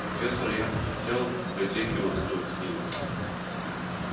профессор я бы хотел в библиотеке вот эту книгу